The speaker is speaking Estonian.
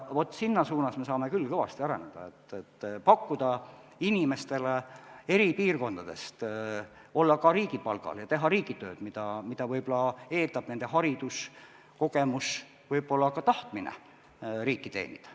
Selles suunas me saame küll kõvasti areneda, et pakkuda inimestele eri piirkondades võimalust olla ka riigipalgal, teha riigitööd, mida võib-olla eeldab nende haridus, kogemus, võib-olla ka tahtmine riiki teenida.